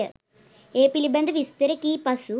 ඒ පිළිබඳ විස්තර කී පසු